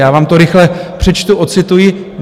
Já vám to rychle přečtu, odcituji.